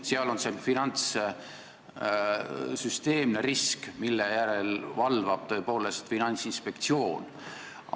Seal on see süsteemne risk, mille järele valvab tõepoolest Finantsinspektsioon.